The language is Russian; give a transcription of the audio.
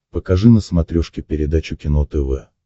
покажи на смотрешке передачу кино тв